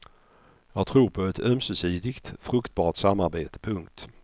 Jag tror på ett ömsesidigt fruktbart samarbete. punkt